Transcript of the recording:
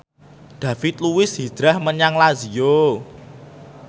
David Luiz hijrah menyang Lazio